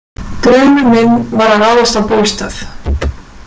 Draumur minn var að ráðast á Bólstað.